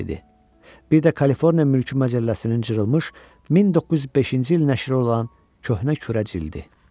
Bir də Kaliforniya Mülki Məcəlləsinin cırılmış 1905-ci il nəşri olan köhnə kürə cildi.